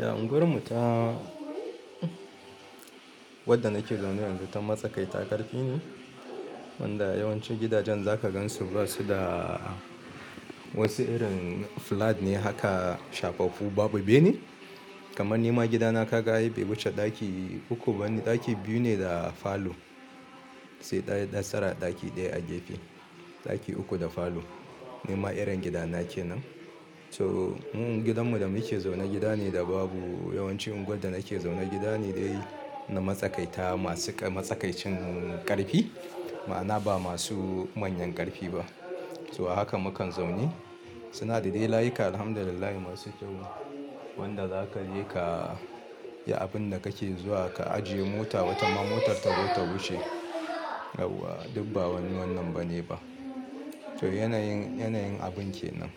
Ya unguwarmu ta wadda nake zaune yanzu ta matsakai takarfi ne, wanda yawancin gidajen za ka gan su basu da wasu irin flat ne haka shafaffu babu bene. Kaman ni ma gidana ka ga ai bai wuce ɗaki uku bane, ɗaki biyu ne da falo sai ɗaya extra ɗaki ɗaya a gefe. Ɗaki uku da falo ni ma irin gidana ke nan. So in gidanmu da muke zaune gida ne da babu yawancin unguwar da nake zaune gida ne dai na matsakaita masu matsakaicin ƙarfi, ma'ana ba masu manyan ƙarfi ba. So haka mukan zaune. Suna da dai layuka alhamdulillahi masu kyau wanda za ka je ka yi abinda kake zuwa ka ajiye mota watama motar ta zo ta wuce. Yauwa duk ba wani wannan bane ba. To yanayin, yanayin abun ke nan.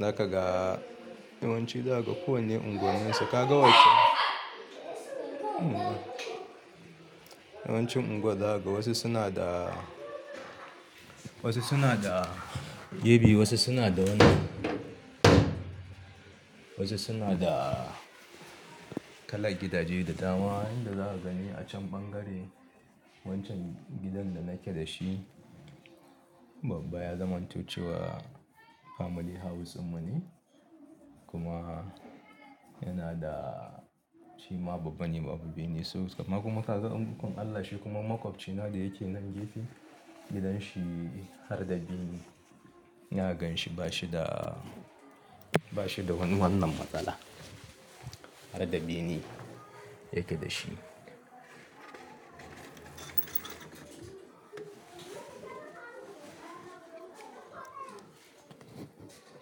Zaka ga yawanci za ka ga kowanne unguwanninsu ka ga wac-- yawancin unguwar za kaga wasu suna da, wasu suna da ebe wasu suna da wannan, wasu suna da kalar gidaje da dama. Kuma yanda za ka gani a can ɓangare wancan gidan da nake da shi babba ya zamanto cewa family house din mu ne kuma yana da shima babba ne babu bene. So amma kuma ka ga ikon Allaj shi kuma makwabci na da yake nan gefe. Gidan shi har da bene. Na gan shi bashi da, bashi da wani wannan matsala. Har da bene yake da shi.